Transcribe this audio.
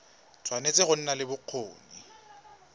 tshwanetse go nna le bokgoni